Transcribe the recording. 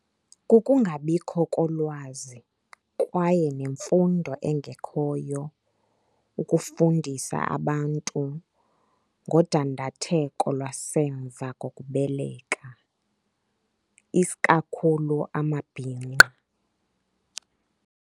Kukungabikho kolwazi kwaye nemfundo engekhoyo ukufundisa abantu ngodandatheko lwasemva kokubeleka, isikakhulu amabhinqa.